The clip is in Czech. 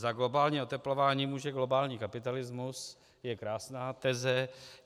"Za globální oteplování může globální kapitalismus" je krásná teze.